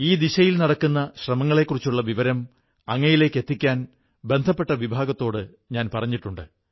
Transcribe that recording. ഈ ദിശയിൽ നടക്കുന്ന ശ്രമങ്ങളെക്കുറിച്ചുള്ള വിവരം അങ്ങയിലേക്കെത്തിക്കാൻ ബന്ധപ്പെട്ട വിഭാഗത്തോടു പറഞ്ഞിട്ടുണ്ട്